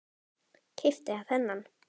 Keypti þennan.